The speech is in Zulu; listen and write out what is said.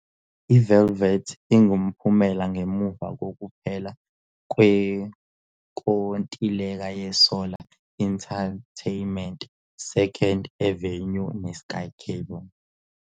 IVelvet ingumphumela ngemuva kokuphela kwenkontileka yeSolar Entertainment's 2nd Avenue neSkyCable.